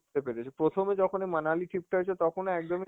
পেরেছে, প্রথমে যখন ওই মানালি trip টা হয়েছে, তখন ও একদমই